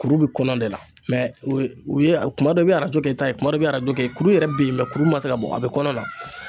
Kuru be kɔnɔ de la mɛ u ye kuma dɔw i be arajo kɛ i ta ye kuma dɔ i be arajo kɛ kuru yɛrɛ be yen mɛ kuru ma se ka bɔ a be kɔnɔna na